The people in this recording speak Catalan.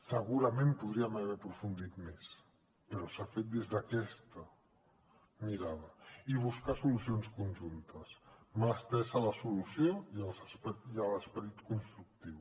segurament podríem haver hi aprofundit més però s’ha fet des d’aquesta mirada i buscar solucions conjuntes mà estesa a la solució i a l’esperit constructiu